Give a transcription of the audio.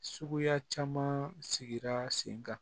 Suguya caman sigira sen kan